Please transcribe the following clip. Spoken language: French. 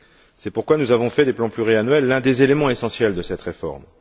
C'est pourquoi nous avons fait des plans pluriannuels l'un des éléments essentiels de cette réforme.